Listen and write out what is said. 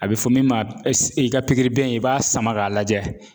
A bɛ fɔ min ma i ka pikiribiyɛn i b'a sama k'a lajɛ